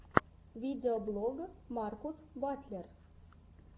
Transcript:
видеоблог маркус батлер